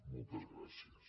moltes gràcies